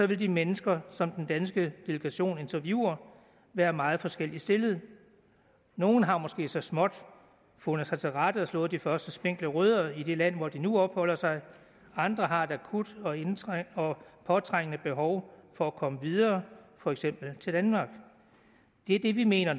vil de mennesker som den danske delegation interviewer være meget forskelligt stillede nogle har måske så småt fundet sig til rette og slået de første spinkle rødder i det land hvor de nu opholder sig andre har et akut og påtrængende behov for at komme videre for eksempel til danmark det er det vi mener